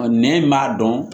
nɛn in b'a dɔn